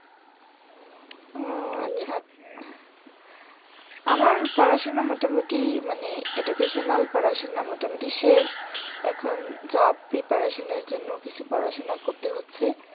ও আচ্ছা আচ্ছা। আমার পড়াশুনা মোটামুটি মানে educational পড়াশুনা মোটামুটি শেষ এখন job preparation এর জন্য কিছু পড়াশুনা করতে হচ্ছে।